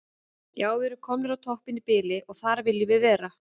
Já við erum komnir á toppinn í bili og þar viljum við vera.